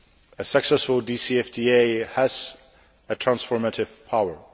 A successful DFCTA has a transformative power.